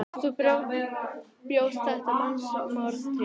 Þú bjóst þetta mannsmorð til.